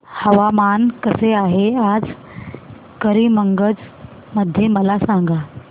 हवामान कसे आहे आज करीमगंज मध्ये मला सांगा